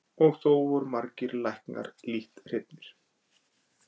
Og þó voru margir læknar lítt hrifnir.